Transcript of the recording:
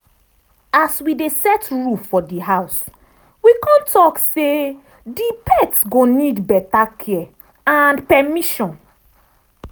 as we dey set rule for di house we con talk say di pet go need better care and permission.